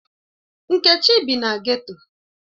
Nkechi bi na geto.